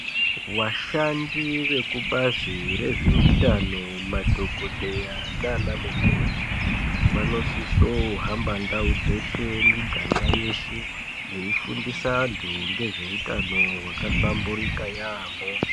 Vashandi vekubazi rezveutano, madhokodheya nanamukoti vanosiso kuhamba ndau dzeshe miganga yeshe veifundise vantu nezveutano hwakahlamburika yaambho.